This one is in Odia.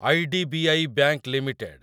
IDBI bank limited